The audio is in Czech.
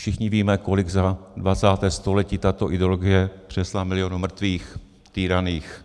Všichni víme, kolik za 20. století tato ideologie přinesla milionů mrtvých, týraných,